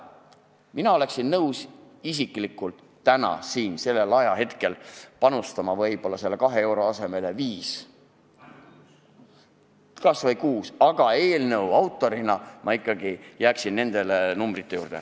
Mina ise oleksin nõus panustama selle 2 euro asemel 5, kas või 6, aga eelnõu autorina ma jääksin ikkagi nende pakutud numbrite juurde.